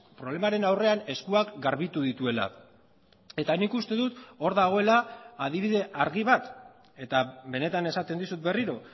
problemaren aurrean eskuak garbitu dituela eta nik uste dut hor dagoela adibide argi bat eta benetan esaten dizut berriro